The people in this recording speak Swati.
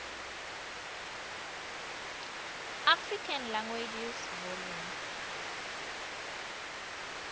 african languages volume